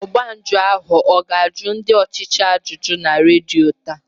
Ọgba njụ ahụ ọ ga-ajụ ndị ọchịchị ajụjụ na redio taa?